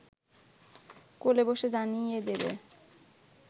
কোলে বসে জানিয়ে দেবে